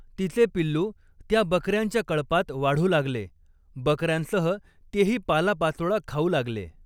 तिचे पिल्लू त्या बक यांच्या कळपात वाढू लागले, बकऱ्यांसह तेही पालापाचोळा खाऊ लागले.